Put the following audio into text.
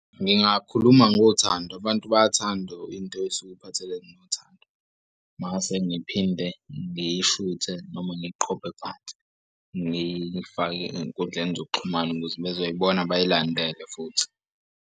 Ngingakhuluma ngothando abantu bayathanda into esuke iphathelene nothando. Mase ngiphinde ngiyishuthe noma ngiqhophe phansi ngifake ey'nkundleni zokuxhumana ukuze bezoyibona bayilandele futhi.